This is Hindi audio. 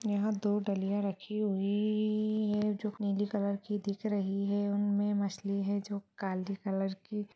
यहाँ दो डलिया रखी हुई है जो नीली कलर की दिख रही है उनमें मछली है जो काली कलर की--